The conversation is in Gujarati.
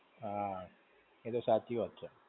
હા. એ તો સાચી વાત છે.